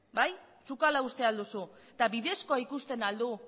bai zuk ala uste ahal duzu eta bidezkoa ikusten ahal du